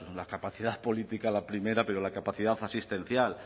la capacidad política la primera pero la capacidad asistencial